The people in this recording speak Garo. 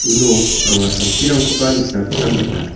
uno anga samsirangkoba nikna gita man·a.